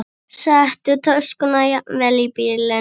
Settu töskuna jafnvel í bílinn.